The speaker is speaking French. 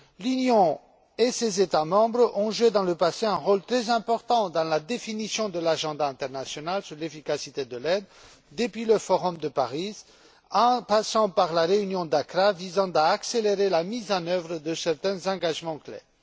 L'Union et ses États membres ont joué par le passé un rôle très important dans la définition de l'agenda international sur l'efficacité de l'aide, depuis le forum de Paris et en passant par la réunion d'Accra, visant à accélérer la mise en œuvre de certains engagements clairs.